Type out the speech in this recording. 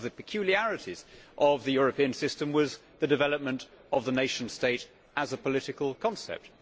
One of the peculiarities of the European system was the development of the nation state as a political concept.